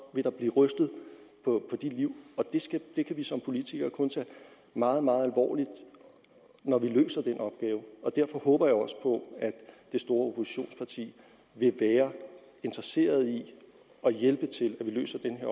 vil der blive rystet på de liv og det kan vi som politikere kun tage meget meget alvorligt når vi løser den opgave og derfor håber jeg også på at det store oppositionsparti vil være interesseret i at hjælpe med til at vi løser den